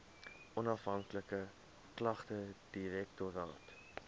onafhanklike klagtedirektoraat